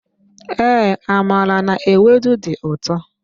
Ee, amala n'ewedu di ụtọ.